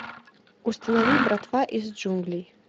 установи братва из джунглей